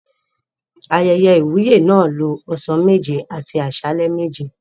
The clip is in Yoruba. Ayẹyẹ ìwúyè náà lo ọ̀sán méje àti àsálẹ́ méje.